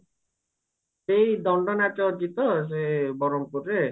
ଏଇ ଦଣ୍ଡ ନାଚ ଅଛି ତ ସେ ବରହମପୁରରେ